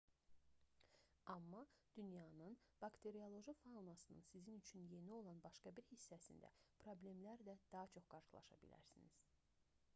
amma dünyanın bakterioloji faunasının sizin üçün yeni olan başqa bir hissəsində problemlərlə daha çox qarşılaşa bilərsiniz